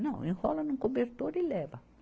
Não, enrola num cobertor e leva.